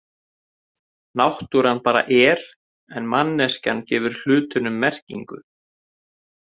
Náttúran bara er, en manneskjan gefur hlutunum merkingu.